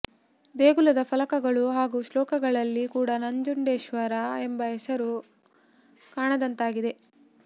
ದೇಗುಲದ ಫಲಕಗಳು ಹಾಗೂ ಶ್ಲೋಕಗಳಲ್ಲಿ ಕೂಡ ನಂಜುಂಡೇಶ್ವರ ಎಂಬ ಹೆಸರು ಕಾಣದಂತಾಗಿದೆ